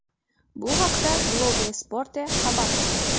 Bu haqda Globo Esporte xabar qilmoqda .